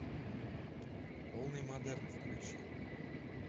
полный модерн включи